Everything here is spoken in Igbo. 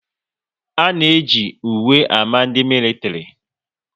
A na eji uwe ámá ndị militiri